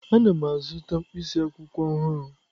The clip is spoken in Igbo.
Ana m azụta mkpịsị akwụkwọ ọhụrụ.